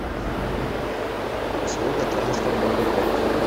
услуга трансфер в аэропорт